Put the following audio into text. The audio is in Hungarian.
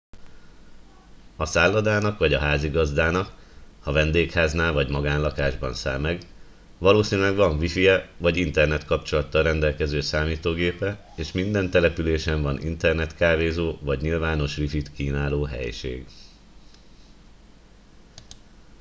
a szállodának vagy a házigazdáknak ha vendégháznál vagy magánlakásban száll meg valószínűleg van wifije vagy internetkapcsolattal rendelkező számítógépe és minden településen van internetkávézó vagy nyilvános wifit kínáló helység